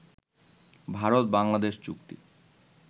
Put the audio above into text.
ভারত-বাংলাদেশ চুক্তি